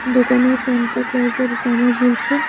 দোকানে স্যান্টাক্লজের জামা ঝুলছে।